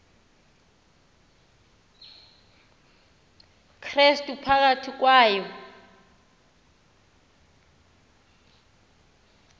krestu phakathi kwayo